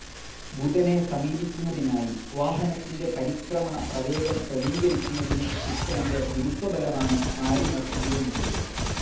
ബുധനെ സമീപിക്കുന്നതിനായി വാഹനത്തിന്റെ പരിക്രമണ പ്രവേഗം ക്രമീകരിക്കുന്നതിന്‌ ശുക്രന്റെ ഗുരുത്വബലമാണ്‌ മാരിനർ ഉപയോഗിച്ചത്.